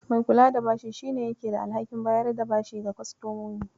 Mai kula da bashi shi ne yake da alhakin bayar da bashi ga kostomomi.